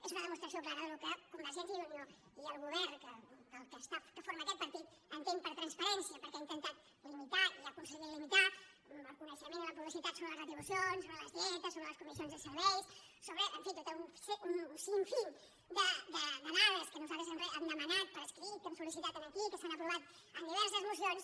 és una demostració clara del que convergència i unió i el govern que forma aquest partit entén per transparència perquè ha intentat limitar i ha aconseguit limitar el coneixement i la publicitat sobre les retribucions sobre les dietes sobre les comissions de serveis sobre en fi tot un sinfínper escrit que hem sol·licitat aquí que s’han aprovat en diverses mocions